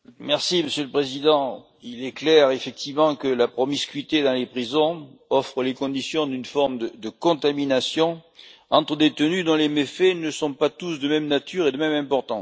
Monsieur le Président, il est clair effectivement que la promiscuité dans les prisons offre les conditions d'une forme de contamination entre détenus dont les méfaits ne sont pas tous de même nature ou de même importance.